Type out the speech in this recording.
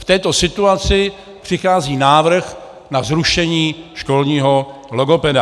V této situaci přichází návrh na zrušení školního logopeda.